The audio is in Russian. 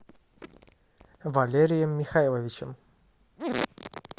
валерием михайловичем